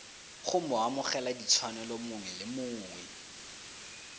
go moamogeladitshwanelo mongwe le mongwe